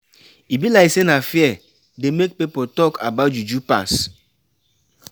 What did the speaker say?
E be like sey na fear dey make pipo talk about juju pass.